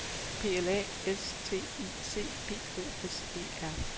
P L A S T I C P O S E R